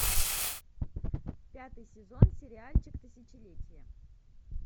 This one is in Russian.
пятый сезон сериальчик тысячелетие